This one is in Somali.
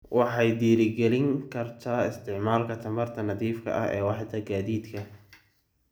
Waxay dhiirigelin kartaa isticmaalka tamarta nadiifka ah ee waaxda gaadiidka.